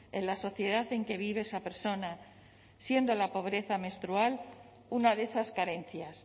en la sociedad en que vive esa persona siendo la pobreza menstrual una de esas carencias